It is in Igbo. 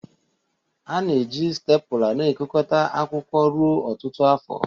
A na-eji stepula na-ekekọta akwụkwọ ruo ọtụtụ afọ.